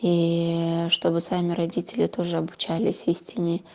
ии чтобы сами родители тоже обучались истине